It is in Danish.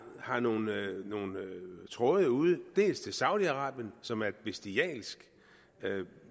har nogle tråde ud dels til saudi arabien som er et bestialsk